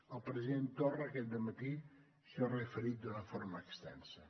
el president torra aquest dematí s’hi ha referit d’una forma extensa